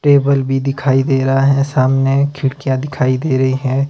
Table भी दिखाई दे रहा है सामने खिड़कीयां दिखाई दे रही हैं।